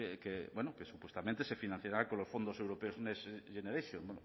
que supuestamente se financiará con los fondos europeos next generation